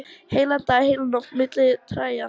Heilan dag, heila nótt, milli trjáa.